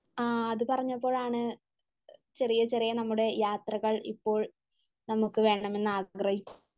ആഹ് അത് പറഞ്ഞപ്പോഴാണ് ചെറിയ ചെറിയ നമ്മുടെ യാത്രകൾ ഇപ്പോൾ നമ്മക്ക് വേണമെന്ന് ആഗ്രഹി...